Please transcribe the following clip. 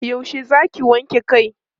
yaushe Zaki wanke Kai?